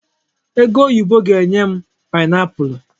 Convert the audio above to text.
Egoyibo ga-enye m paịnapụlụ.